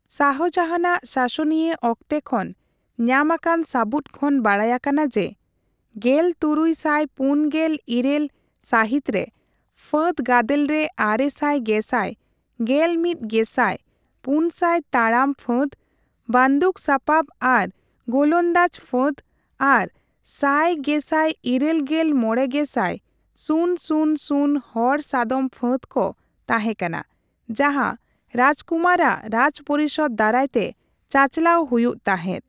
ᱥᱟᱦᱚᱡᱟᱦᱟᱱ ᱟᱜ ᱥᱟᱥᱚᱱᱤᱭᱟᱹᱚᱠᱛᱮ ᱠᱷᱚᱱ ᱧᱟᱢᱟᱠᱟᱱ ᱥᱟᱵᱩᱫ ᱠᱷᱚᱱ ᱵᱟᱰᱟᱭ ᱟᱠᱟᱱᱟ ᱡᱮ ᱑᱖᱔᱘ ᱥᱟᱹᱦᱤᱛ ᱨᱮ ᱯᱷᱟᱹᱫᱽᱜᱟᱫᱮᱞ ᱨᱮ ᱟᱨᱮᱥᱟᱭ ᱜᱮᱥᱟᱭ, ᱜᱮᱞᱢᱤᱛᱜᱮᱥᱟᱭ, ᱯᱩᱱᱥᱟᱭ ᱛᱟᱲᱟᱢ ᱯᱷᱟᱹᱫᱽ, ᱵᱟᱱᱫᱩᱠᱥᱟᱯᱟᱯ ᱟᱨ ᱜᱳᱞᱚᱱᱫᱟᱡ ᱯᱷᱟᱹᱫᱽ ᱟᱨ ᱥᱟᱭ ᱜᱮᱥᱟᱭ ᱤᱨᱟᱹᱞᱜᱮᱞ ᱢᱚᱲᱮ ᱜᱮᱥᱟᱭ, ᱥᱩᱱ ᱥᱩᱱ ᱥᱩᱱ ᱦᱚᱲ ᱥᱟᱫᱚᱢ ᱯᱷᱟᱹᱫᱽ ᱠᱚ ᱛᱟᱦᱮᱸᱠᱟᱱᱟ ᱡᱟᱦᱟᱸ ᱨᱟᱡᱠᱩᱢᱟᱨ ᱟᱨ ᱨᱟᱡᱽᱯᱚᱨᱤᱥᱚᱫ ᱫᱟᱨᱟᱭᱛᱮ ᱪᱟᱪᱟᱞᱟᱣ ᱦᱩᱭᱩᱜ ᱛᱟᱦᱮᱸᱫ ᱾